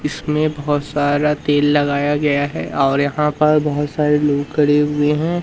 इसमें बहोत सारा तेल लगाया गया है और यहां पर बहोत सारे लोग खड़े हुए हैं।